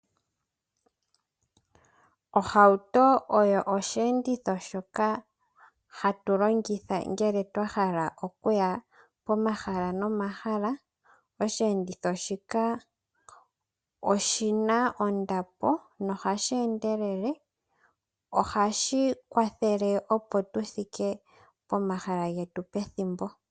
Ohauto osheenditho shoka hatu longitha uuna twahala okuya pomahala nomahala. Osheenditho shika oshina ondapo nohashi endelele. Ohashi kwathele, opo tu thike pomahala mpono twa hala pethimbo.